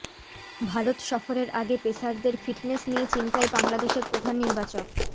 ভারত সফরের আগে পেসারদের ফিটনেস নিয়ে চিন্তায় বাংলাদেশের প্রধান নির্বাচক